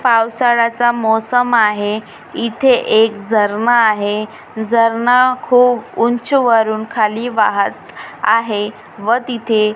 पावसाळ्याचा मौसम आहे इथे एक झरना आहे झरना खूप ऊंच वरून खाली वाहत आहे व तिथे--